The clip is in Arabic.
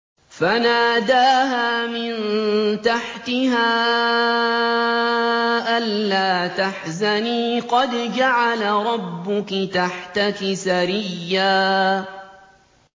فَنَادَاهَا مِن تَحْتِهَا أَلَّا تَحْزَنِي قَدْ جَعَلَ رَبُّكِ تَحْتَكِ سَرِيًّا